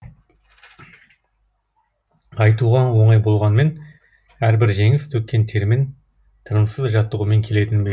айтуға оңай болғанмен әрбір жеңіс төккен термен тынымсыз жаттығумен келетіні белгілі